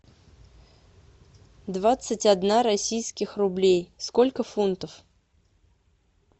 двадцать одна российских рублей сколько фунтов